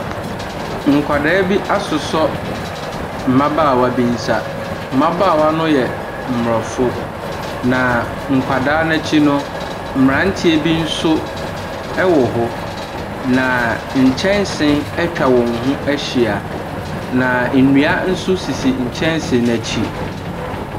Nkwadaa bi asosɔ mmabaawa bi nsa. Mmabaawa no yɛ aborɔfo. Na nkwadaa no akyi nso mmeranteɛ ɛwɔ hɔ. Na nkyɛnse atwa wɔn ho ahyia, na nnua nso sisi nkyɛnse no akyi.